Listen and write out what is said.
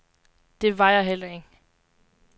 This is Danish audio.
Det var jeg heller ikke.